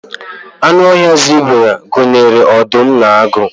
anụ ọhịa zebra gụnyere ọdụm na agụ